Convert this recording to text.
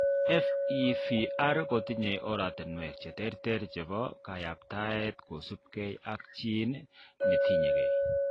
FEVR kotinye oratinwek cheterter chebo kayaptaet kosubkei ak gene netinyegei